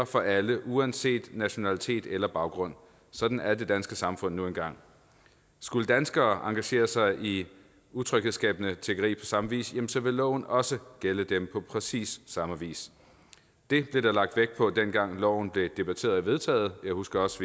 for alle uanset nationalitet eller baggrund sådan er det danske samfund nu engang skulle danskere engagere sig i utryghedsskabende tiggeri samme vis jamen så ville loven også gælde dem på præcis samme vis det blev der lagt vægt på dengang loven blev debatteret og vedtaget jeg husker også